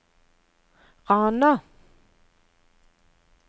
Rana